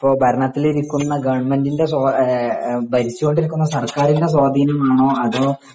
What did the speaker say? ഇപ്പൊ ഭരണത്തിലിരിക്കുന്ന ഗവൺമെന്റിന്റെ ഭരിച്ചോണ്ടിരിക്കുന്ന സർക്കാരിന്റെ സ്വാധീനം ആണോ അതോ